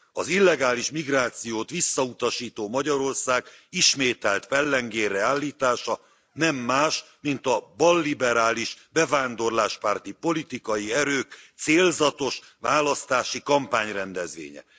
Az illegális migrációt visszautasító Magyarország ismételt pellengérre állítása nem más, mint a balliberális bevándorláspárti politikai erők célzatos választási kampányrendezvénye.